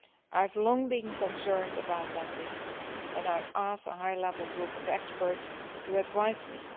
I have long been concerned about these issues and I asked the High Level Group of Experts to advise me.